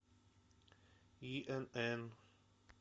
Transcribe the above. инн